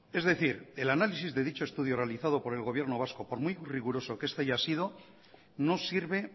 es decir el análisis de dicho estudio realizado por el gobierno vasco por muy riguroso que este haya sido no sirve